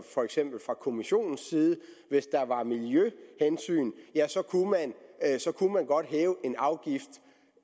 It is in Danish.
for eksempel kommissionens side og hvis der var miljøhensyn ja så kunne man godt hæve en afgift